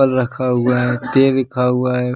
रखा हुआ है हुआ है।